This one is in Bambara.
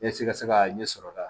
Yasa i ka se ka ɲɛsɔrɔ ka